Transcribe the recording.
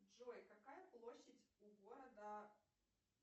джой какая площадь у города